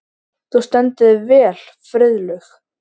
Þú stendur þig vel, Friðlaug!